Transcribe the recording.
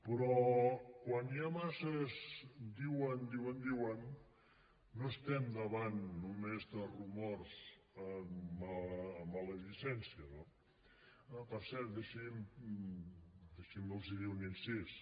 però quan hi ha massa diuen diuen diuen no estem davant només de rumors amb maledicència no per cert deixin me dir los un incís